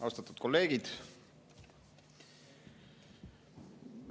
Austatud kolleegid!